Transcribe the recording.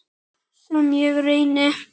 Sem ég reyni.